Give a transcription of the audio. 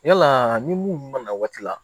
Yala ni mun nana waati la